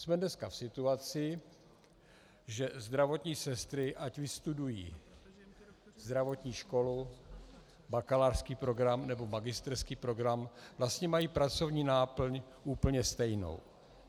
Jsme dneska v situaci, že zdravotní sestry, ať vystudují zdravotní školu, bakalářský program, nebo magisterský program, vlastně mají pracovní náplň úplně stejnou.